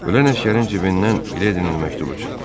Ölən əsgərin cibindən Miledinin məktubu çıxdı.